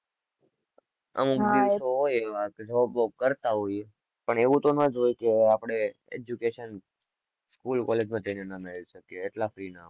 અમુક પણ એવું તો ના જ હોય કે આપડે education school college માં જઈ ને ના મેળવી શકીએ એટલા free ના